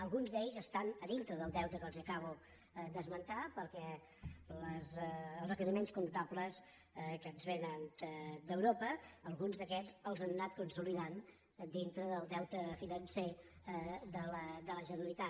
alguns d’aquests estan dintre del deute que els acabo d’esmentar perquè els requeriments comptables que ens vénen d’europa alguns d’aquests els han anat consolidant dintre del deute financer de la generalitat